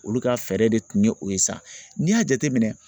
Olu ka fɛɛrɛ de tun ye o ye sa, n'i y'a jateminɛ